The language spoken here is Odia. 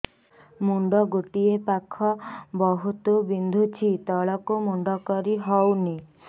ମୁଣ୍ଡ ଗୋଟିଏ ପାଖ ବହୁତୁ ବିନ୍ଧୁଛି ତଳକୁ ମୁଣ୍ଡ କରି ହଉନି